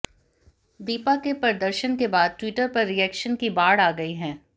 दीपा के प्रदर्शन के बाद ट्विटर पर रिएक्शन की बाढ़ आ गई है